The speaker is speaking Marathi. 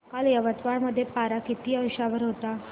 काल यवतमाळ मध्ये पारा किती अंशावर होता